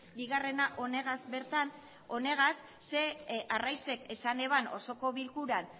bigarrena honegaz bertan honegaz ze arraizek esan eban osoko bilkuran